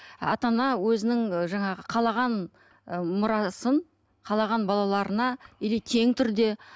ата ана өзінің ы жаңағы қалаған ы мұрасын қалаған балаларына или тең түрде